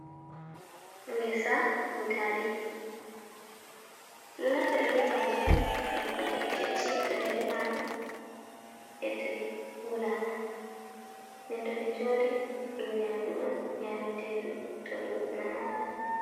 Ngesa butali do naftira be maji on nƴakkugoɗi kecci, to ɗi defama e toɗi ngulama, nden to ɗi njori dum nyamdu on nyametendu to dum namama.